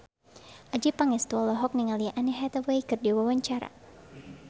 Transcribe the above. Adjie Pangestu olohok ningali Anne Hathaway keur diwawancara